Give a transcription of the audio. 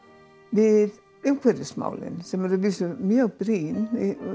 við umhverfismálin sem eru að vísu mjög brýn